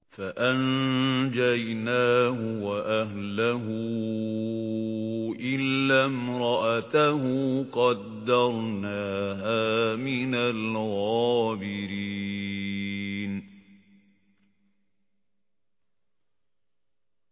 فَأَنجَيْنَاهُ وَأَهْلَهُ إِلَّا امْرَأَتَهُ قَدَّرْنَاهَا مِنَ الْغَابِرِينَ